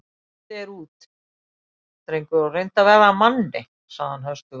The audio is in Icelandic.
Komdu þér út, drengur og reyndu að verða að manni sagði hann höstugur.